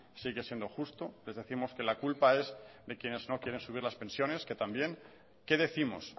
sigue siendo justo les décimos que la culpa es de quienes no quieren subir las pensiones que también qué décimos